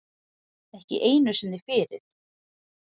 Ekki einu sinni fyrir